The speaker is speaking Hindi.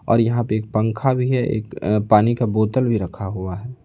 और यहां पे एक पंखा भी है एक अ पानी का बोतल भी रखा हुआ है।